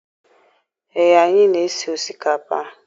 Ee, anyị na-esi osikapa.